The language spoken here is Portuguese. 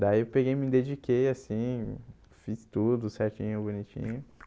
Daí eu peguei e me dediquei assim, fiz tudo certinho, bonitinho.